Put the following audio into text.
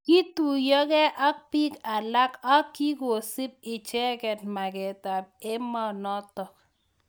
Kituyokei ak bik alak ak kikosub icheket maket ab emonotok.